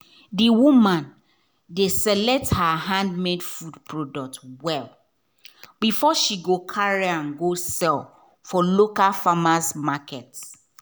the woman dey select her handmade food product well before she carry am go sell for local farmer’s market.